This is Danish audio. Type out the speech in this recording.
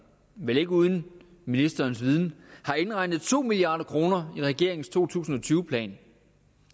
vel ikke uden ministerens viden har indregnet to milliard kroner i regeringens to tusind og tyve plan